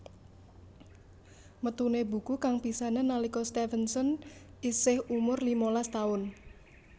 Metuné buku kang pisanan nalika Stevenson isih umur limalas taun